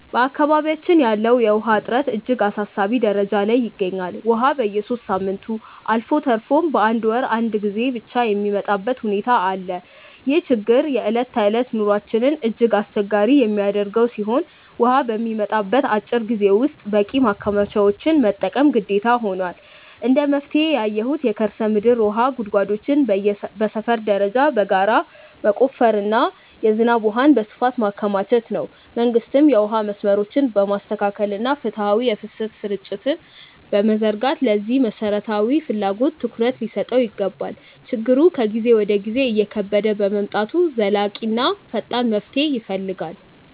በአካባቢያችን ያለው የውሃ እጥረት እጅግ አሳሳቢ ደረጃ ላይ ይገኛል፤ ውሃ በየሦስት ሳምንቱ አልፎ ተርፎም በአንድ ወር አንዴ ብቻ የሚመጣበት ሁኔታ አለ። ይህ ችግር የዕለት ተዕለት ኑሯችንን እጅግ አስቸጋሪ የሚያደርገው ሲሆን፣ ውሃ በሚመጣበት አጭር ጊዜ ውስጥ በቂ ማከማቻዎችን መጠቀም ግዴታ ሆኗል። እንደ መፍትሄ ያየሁት የከርሰ ምድር ውሃ ጉድጓዶችን በሰፈር ደረጃ በጋራ መቆፈርና የዝናብ ውሃን በስፋት ማከማቸት ነው። መንግስትም የውሃ መስመሮችን በማስተካከልና ፍትሃዊ የፍሰት ስርጭት በመዘርጋት ለዚህ መሠረታዊ ፍላጎት ትኩረት ሊሰጠው ይገባል። ችግሩ ከጊዜ ወደ ጊዜ እየከበደ በመምጣቱ ዘላቂና ፈጣን መፍትሄ ይፈልጋል።